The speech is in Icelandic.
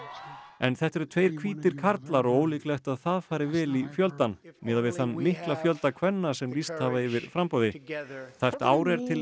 en þetta eru tveir hvítir karlar og ólíklegt að það fari vel í fjöldann miðað við þann mikla fjölda kvenna sem lýst hafa yfir framboði tæpt ár er til